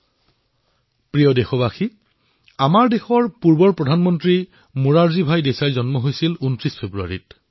মোৰ মৰমৰ দেশবাসীসকল আমাৰ দেশৰ প্ৰাক্তন প্ৰধানমন্ত্ৰী মোৰাৰজী দেশাইৰ ২৯ ফেব্ৰুৱাৰী তাৰিখে জন্ম হৈছিল